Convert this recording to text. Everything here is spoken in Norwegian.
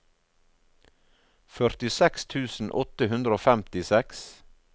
førtiseks tusen åtte hundre og femtiseks